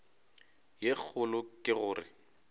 ye kgolo ke go re